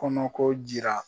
Kɔnɔko jira